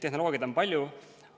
Tehnoloogiaid on palju.